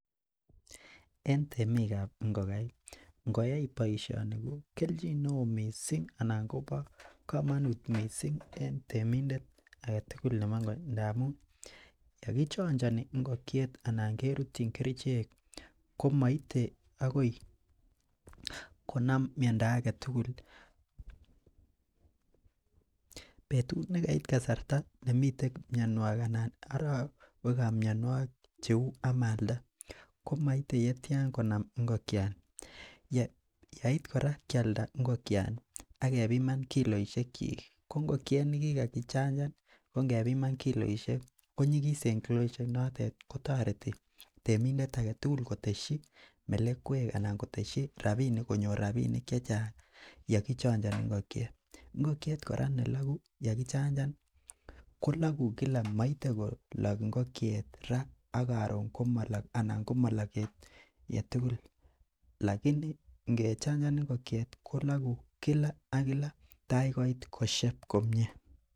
En tenik kab ingokaik ingoyai boisioni ko kelchin neoo missing anan kobo komonuut missing en temindet agetugul nebo ingok ndamun ye kichanchani ingokiet anan kerutyin kerichek komoite akoi konam miondo agetugul betut nekait kasarta nemite mionwokig ana arowek ab mionwokik cheu amalda komoite yetian konam ingokiani. Yeit kora kialda ingokiani akebiman kiloisiek chik ingokiet nekikaki chanchan kongebiman kiloisiek konyigisen kiloisiek notet kotoreti temindet agetugul koteshi melekwek anan koteshi rabinik konyor rabinik chechang yeki chanchani ingokiet. ingokiet kora nelagu ya kichanchan kolagu Kila maite kolak kila moite kolak kila